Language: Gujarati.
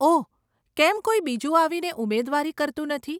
ઓહ, કેમ કોઈ બીજું આવીને ઉમેદવારી કરતું નથી?